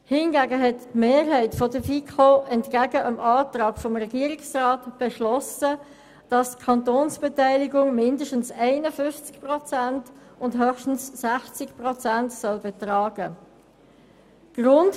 Hingegen hat eine Mehrheit der FiKo entgegen dem Antrag des Regierungsrats beschlossen, dass die Kantonsbeteiligung mindestens 51 Prozent und höchstens 60 Prozent betragen soll.